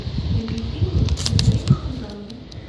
найди фильмы в историческом жанре